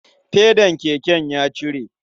Fedan keken ya cire.